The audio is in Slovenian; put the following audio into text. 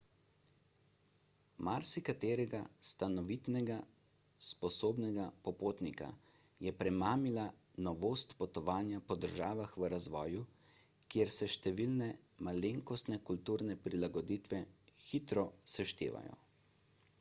marsikaterega stanovitnega sposobnega popotnika je premamila novost potovanja po državah v razvoju kjer se številne malenkostne kulturne prilagoditve hitro seštevajo